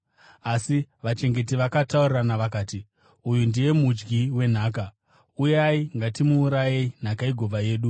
“Asi vachengeti vakataurirana vakati, ‘Uyu ndiye mudyi wenhaka. Uyai, ngatimuurayei, nhaka igova yedu.’